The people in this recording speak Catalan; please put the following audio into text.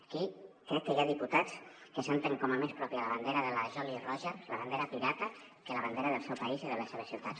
aquí crec que hi ha diputats que senten com a més pròpia la bandera de la jolly roger la bandera pirata que la bandera del seu país i de les seves ciutats